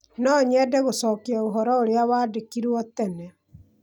No nyende gũcokia ũhoro ũrĩa wandĩkĩirũo tene.